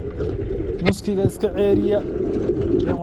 Musikega iska ciyarayhy.